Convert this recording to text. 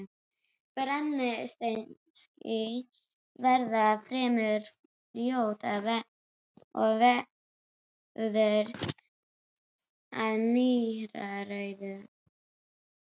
Brennisteinskís veðrast fremur fljótt og verður að mýrarauða.